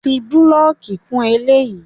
Fi búlọ̀kì kún eléyìí!